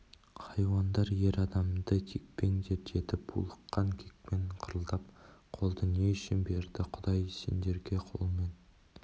хайуандар ер адамды теппеңдер деді булыққан кекпен қырылдап қолды не үшін берді құдай сендерге қолмен